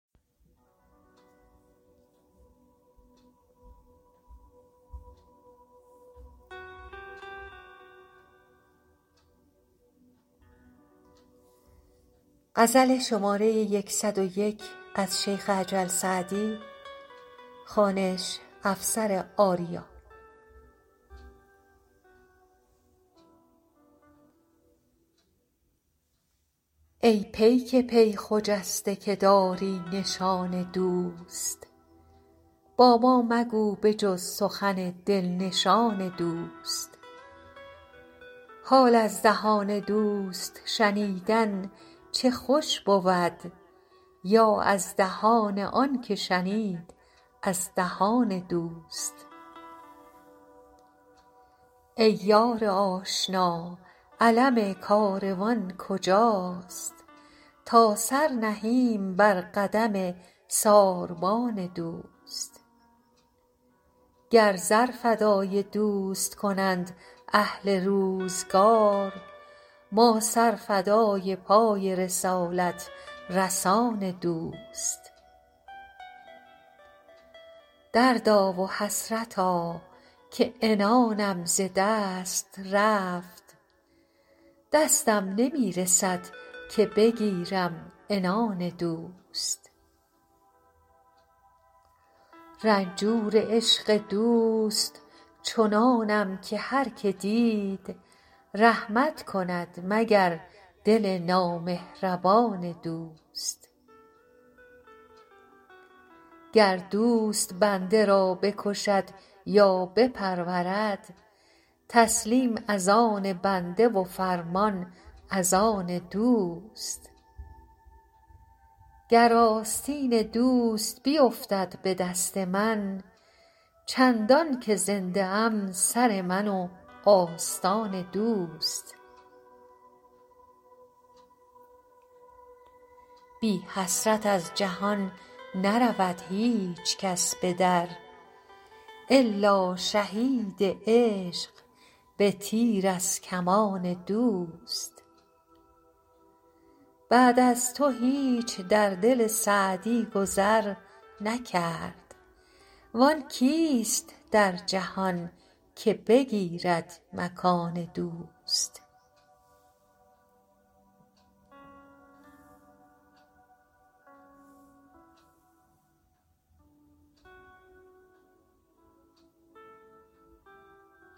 ای پیک پی خجسته که داری نشان دوست با ما مگو به جز سخن دل نشان دوست حال از دهان دوست شنیدن چه خوش بود یا از دهان آن که شنید از دهان دوست ای یار آشنا علم کاروان کجاست تا سر نهیم بر قدم ساربان دوست گر زر فدای دوست کنند اهل روزگار ما سر فدای پای رسالت رسان دوست دردا و حسرتا که عنانم ز دست رفت دستم نمی رسد که بگیرم عنان دوست رنجور عشق دوست چنانم که هر که دید رحمت کند مگر دل نامهربان دوست گر دوست بنده را بکشد یا بپرورد تسلیم از آن بنده و فرمان از آن دوست گر آستین دوست بیفتد به دست من چندان که زنده ام سر من و آستان دوست بی حسرت از جهان نرود هیچ کس به در الا شهید عشق به تیر از کمان دوست بعد از تو هیچ در دل سعدی گذر نکرد وآن کیست در جهان که بگیرد مکان دوست